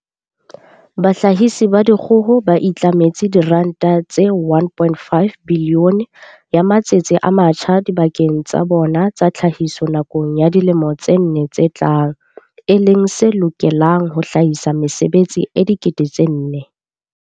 Bahlahisi ba dikgoho ba itlametse diranta tse 1.5 bilione ya matsete a matjha dibakeng tsa bona tsa tlhahiso nakong ya dilemo tse nne tse tlang, e leng se lokelang ho hlahisa mesebetsi e 4 000.